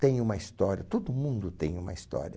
Tem uma história, todo mundo tem uma história.